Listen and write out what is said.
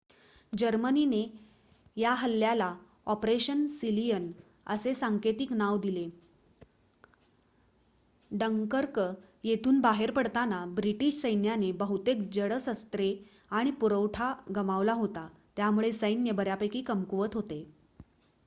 "जर्मनीने या हल्ल्याला "ऑपरेशन सीलियन" असे सांकेतिक नाव दिले. डंकर्क येथून बाहेर पडताना ब्रिटिश सैन्याने बहुतेक जड शस्त्रे आणि पुरवठा गमावला होता त्यामुळे सैन्य बऱ्यापैकी कमकुवत होते.